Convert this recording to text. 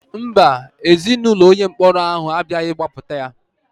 Mba, Ezinaụlọ onye mkpọrọ ahụ abịaghị gbapụta ya.